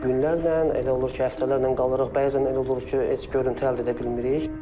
Günlərlə elə olur ki, həftələrlə qalırıq, bəzən elə olur ki, heç görüntü əldə edə bilmirik.